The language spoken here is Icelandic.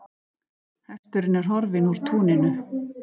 Hesturinn er horfinn úr túninu.